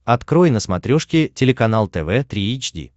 открой на смотрешке телеканал тв три эйч ди